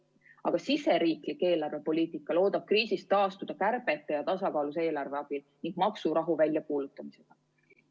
Aga siseriiklik eelarvepoliitika loodab kriisist taastuda kärbete ja tasakaalus eelarve abil ning maksurahu väljakuulutamise teel.